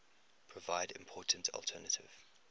provide important alternative